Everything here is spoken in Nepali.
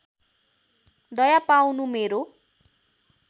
दया पाउनु मेरो